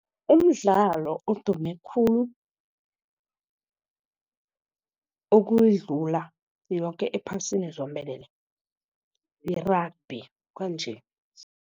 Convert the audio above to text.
Umdlalo odume khulu ukuyidlula yoke ephasini zombelele, yi-rugby kwanje.